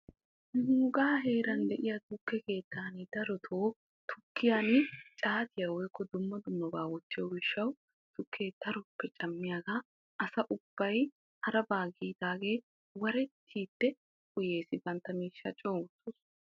Nuuga heeran de'iyaa tukke keettan caatiya gujjiyo gishawu asa ubbay warettiddi uyees, bantta miishsha coo wurssosonna.